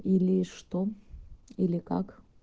или что или как